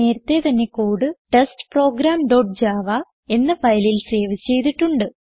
നേരത്തേ തന്നെ code test program dot Java എന്ന ഫയലിൽ സേവ് ചെയ്തിട്ടുണ്ട്